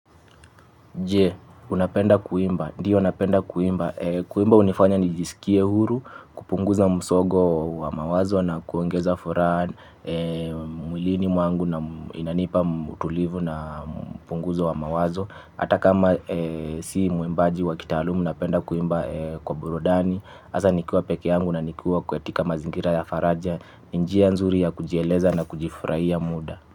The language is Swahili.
Je, unapenda kuimba? Ndiyo, napenda kuimba. Kuimba hunifanya nijisikie huru, kupunguza msongo wa mawazo na kuongeza furaha mwilini mwangu, na inanipa utulivu na kupunguza mawazo. Ata kama si mwimbaji wa kitaalamu napenda kuimba kwa burudani. Hasa nikiwa peke yangu na nikiwa katika mazingira ya faraja. Ni njia nzuri ya kujieleza na kujifurahia muda.